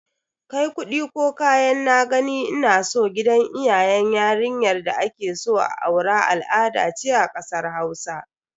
Kai kudi ko kayan "na gani ina so" gidan iyayen yarinya da akeso a aura al'ada ce a kasar Hausa.